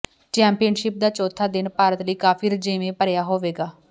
championship ਦਾ ਚੌਥਾ ਦਿਨ ਭਾਰਤ ਲਈ ਕਾਫੀ ਰੁਝੇਵੇਂ ਭਰਿਆ ਹੋਵੇਗਾ